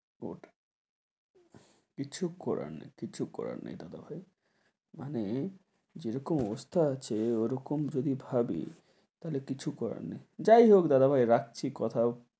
কিছু করার নেই কিছু করার নেই দাদা ভাই। মানে যেরকম অবস্থা আছে ওরকম যদি ভাবি তাহলে কিছু করার নেই । যাই হোক দাদা ভাই, রাখছি। কথা,